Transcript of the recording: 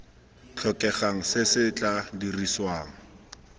tlhokegang se se tla dirisiwang